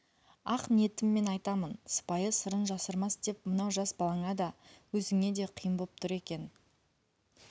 ақ ниетіммен айтамын сыпайы сырын жасырмас деп мынау жас балаңа да өзіңе де қиын боп тұр екен